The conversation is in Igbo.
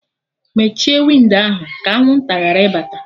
Mechie windo ahụ! ka anwụnta ghara ịbata